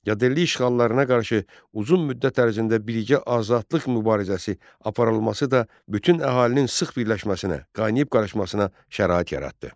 Yadelli işğallarına qarşı uzun müddət ərzində birlikdə azadlıq mübarizəsi aparılması da bütün əhalinin sıx birləşməsinə, qaynayıb-qarışmasına şərait yaratdı.